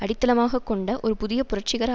அடித்தளமாக கொண்ட ஒரு புதிய புரட்சிகர